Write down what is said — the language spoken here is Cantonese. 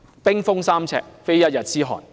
冰封三尺，非一日之寒。